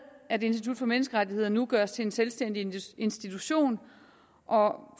at institut for menneskerettigheder nu gøres til en selvstændig institution og